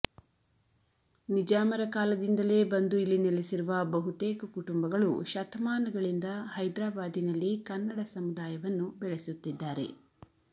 ನಿಜಾಮರ ಕಾಲದಿಂದಲೇ ಬಂದು ಇಲ್ಲಿ ನೆಲೆಸಿರುವ ಬಹುತೇಕ ಕುಟುಂಬಗಳು ಶತಮಾನಗಳಿಂದ ಹೈದ್ರಾಬಾದಿನಲ್ಲಿ ಕನ್ನಡ ಸಮುದಾಯವನ್ನು ಬೆಳೆಸುತ್ತಿದ್ದಾರೆ